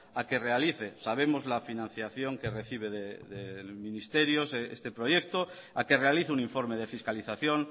a que realice sabemos la financiación que recibe del ministerio este proyecto a que realice un informe de fiscalización